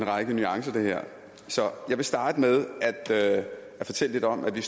en række nuancer så jeg vil starte med at fortælle lidt om at vi